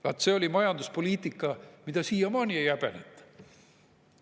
Vaat see oli majanduspoliitika, mida siiamaani ei häbeneta.